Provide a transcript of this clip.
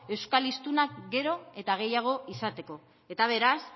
euskal hiztunak gero eta gehiago izateko eta beraz